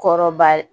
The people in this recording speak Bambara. Kɔrɔba ye